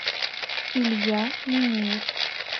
илья минеев